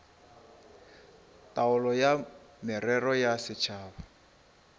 taolo ya merero ya setšhaba